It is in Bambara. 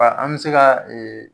Aa an be se ka ee